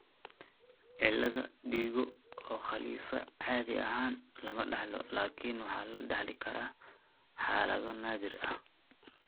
Cilada digo oo Khalifa caadi ahaan lama dhaxlo, laakiin waxa la dhaxli karaa xaalado naadir ah.